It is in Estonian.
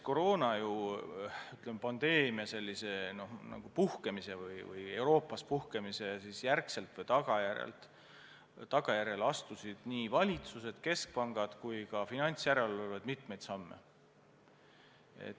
Koroonapandeemia Euroopas puhkemise järel astusid nii valitsused, keskpangad kui ka finantsjärelevalved mitmeid samme.